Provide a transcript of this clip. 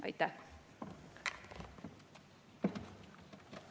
Aitäh!